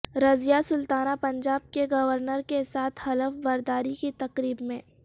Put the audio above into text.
رضیہ سلطانہ پنجاب کے گورنر کے ساتھ حلف برداری کی تقریب میں